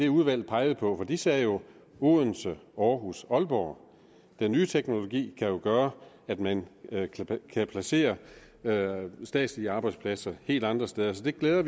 udvalget pegede på for det sagde jo odense aarhus og aalborg den nye teknologi kan jo gøre at man kan placere statslige arbejdspladser helt andre steder så vi glæder